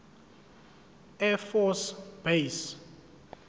air force base